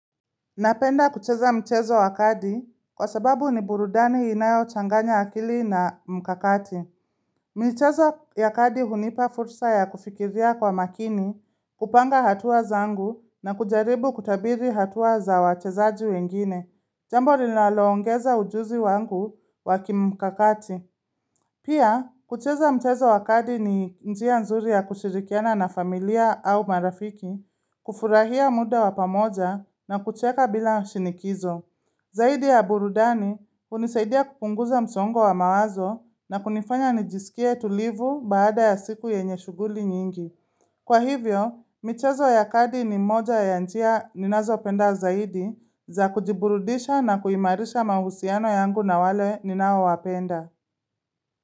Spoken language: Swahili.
Napenda kucheza mchezo wa kadi kwa sababu ni burudani inayochanganya akili na mkakati. Michezo ya kadi hunipa fursa ya kufikiria kwa makini, kupanga hatuwa zangu na kujaribu kutabiri hatuwa za wachezaji wengine. Jambo linaloongeza ujuzi wangu wa kimkakati. Pia, kucheza mchezo wa kadi ni njia nzuri ya kushirikiana na familia au marafiki, kufurahia muda wa pamoja na kucheka bila shinikizo. Zaidi ya burudani hunisaidia kupunguza msongo wa mawazo na kunifanya nijisikie tulivu baada ya siku yenye shughuli nyingi. Kwa hivyo, michezo ya kadi ni moja ya njia ninazopenda zaidi za kujiburudisha na kuhimarisha mahusiano yangu na wale ninaowapenda.